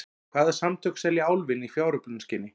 Hvaða samtök selja Álfinn í fjáröflunarskyni?